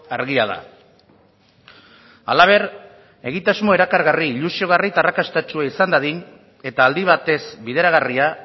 argia da halaber egitasmo erakargarri ilusiogarri eta arrakastatsua izan dadin eta aldi batez bideragarria